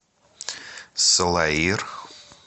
салаир